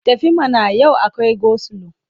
Tafi mana! Yau akwai gosilo.